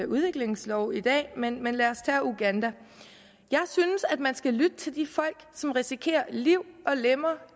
udviklingslov i dag men men lad os tage uganda jeg synes at man skal lytte til de folk som risikerer liv og lemmer